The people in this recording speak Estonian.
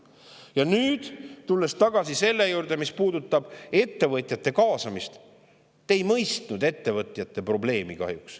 Ja nüüd, tulles tagasi selle juurde, mis puudutab ettevõtjate kaasamist: te kahjuks ei mõistnud ettevõtjate probleemi.